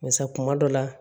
Barisa kuma dɔ la